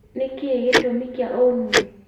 nĩkĩĩ gĩtumi kĩa ũnume?